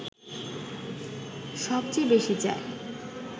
সব চেয়ে বেশি চায়